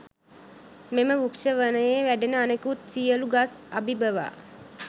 මෙම වෘක්ෂ වනයේ වැඩෙන අනෙකුත් සියලු ගස් අභිභවා